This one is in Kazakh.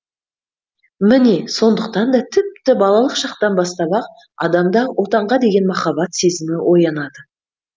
міне сондықтан да тіпті балалық шақтан бастап ақ адамда отанға деген махаббат сезімі оянады